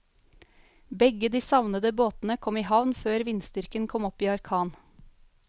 Begge de savnede båtene kom i havn før vindstyrken kom opp i orkan.